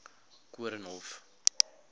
koornhof